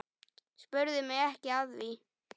Spurðu mig ekki að því.